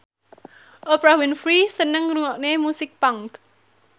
Oprah Winfrey seneng ngrungokne musik punk